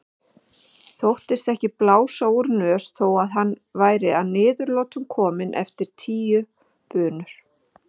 Þóttist ekki blása úr nös þó að hann væri að niðurlotum kominn eftir tíu bunur.